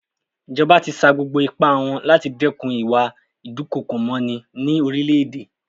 Ìjọba ti sa gbogbo ipá wọn láti dẹ́kun ìwà ìdúkookòmọní ní orílẹ̀-èdè.